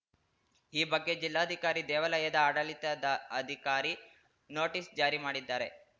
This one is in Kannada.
ಈ ಬಗ್ಗೆ ಜಿಲ್ಲಾಧಿಕಾರಿ ದೇವಾಲಯದ ಆಡಳಿತಾಧ ಅದಿಕಾರಿ ನೋಟಿಸ್‌ ಜಾರಿ ಮಾಡಿದ್ದಾರೆ